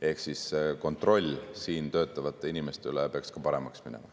Ehk siis kontroll siin töötavate inimeste üle peaks ka paremaks minema.